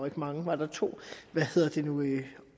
ikke mange var der to